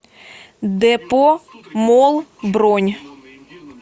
депо молл бронь